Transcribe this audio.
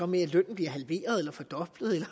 med at lønnen bliver halveret eller fordoblet eller